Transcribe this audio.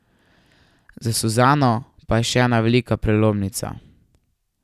Za Suzano pa je še ena velika prelomnica.